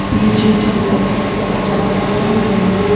ఈ చిత్రంలో ఒక జలపాతం ఉంది.